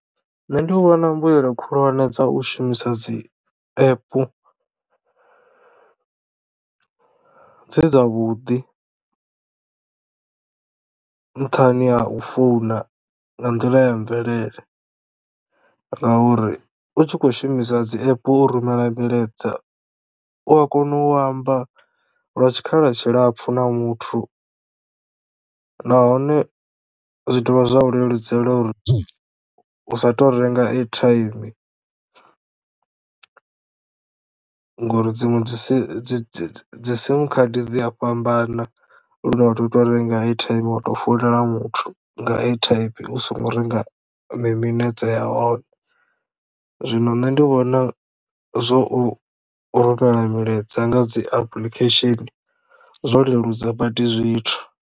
Nṋe ndi vhona mbuyelo khulwane dza u shumisa dzi app dze dza vhuḓi nṱhani ha u founa nga nḓila ya mvelele ngauri u tshi kho shumisa dzi app u rumela milaedza u a kono u amba lwa tshikhala tshilapfu na muthu nahone zwi dovha zwa u leludzela uri u sa tou renga airtime ngori dziṅwe dzi si dzi dzi dzi sim khadi dzi a fhambana lune vhathu tou renga airtime wa to fulela muthu nga airtime u songo renga mi minetse ya hone zwino nṋe ndi vhona zwo u rumela milaedza nga dzi application zwo leludza badi zwithu.